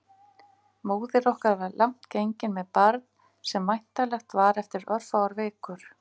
Móðir okkar var langt gengin með barn sem væntanlegt var eftir örfáar vikur.